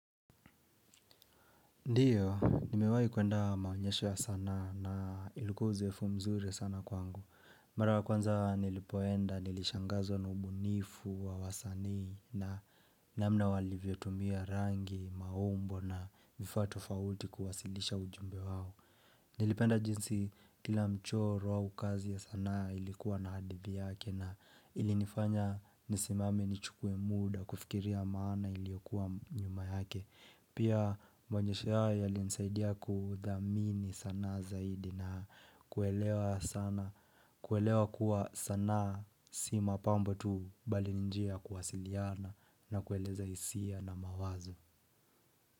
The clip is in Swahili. Ndiyo, nimewai kuenda maonyeshe ya sana na iluko uzefu mzure sana kwangu. Mara kwanza nilipoenda, nilishangazo na ubunifu wa wasani na namna walivyotumia rangi, maombo na mifatu fawuti kuwasilisha ujumbe wao. Nilipenda jinsi kila mchoro wa ukazi ya sana ilikuwa na hadivi yake na ilinifanya nisimame ni chukwe muda kufikiria maana iliokuwa nyuma yake. Pia mwanyesha ya linsaidia kudhamini sana zaidi na kuelewa sana kuelewa kuwa sana si mapambo tu bali njia kuwasiliyana na kueleza isia na mawazo.